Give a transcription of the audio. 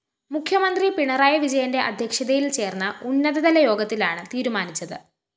മുഖ്യമന്ത്രി പിണറായി വിജയന്റെ അധ്യക്ഷതയില്‍ ചേര്‍ന്ന ഉന്നതതല യോഗത്തിലാണ് തീരുമാനിച്ചത്